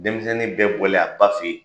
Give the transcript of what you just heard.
Denmisɛnnin bɛɛ bɔlen a ba fɛ yen